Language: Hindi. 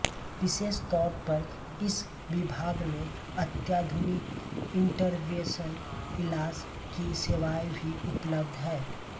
विशेष तौर पर इस विभाग में अत्याधुनिक इन्टरवेंशन इलाज की सेवाएं भी उपलब्ध है